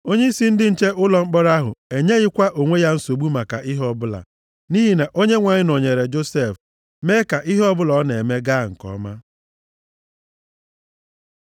Onyeisi ndị nche ụlọ mkpọrọ ahụ enyeghịkwa onwe ya nsogbu maka ihe ọbụla. Nʼihi na Onyenwe anyị nọnyeere Josef, mee ka ihe ọbụla ọ na-eme gaa nke ọma.